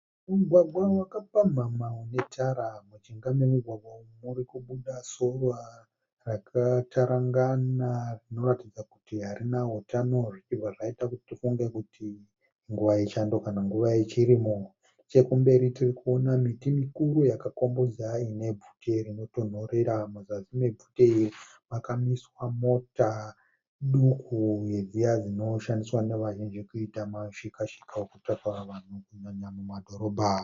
Mugwagwa wakapamhamha une tara. Mujinga memugwagwa uyu muri kubuda sora rakatarangana rinoratidza kuti harina utano zvibva zvaita kuti tifunge kuti inguva yechando kana nguva yechirimo. Nechekumberi tirikuona miti mikuru yakakombodza ine bvute rinotonhorera. Muzasi mebvute iri makamiswa mota duku dziya dzinoshandiswa kuita mushikashika yokutakura vanhu kunyanya mumadhorobha.